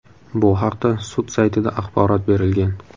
Bu haqda sud saytida axborot berilgan .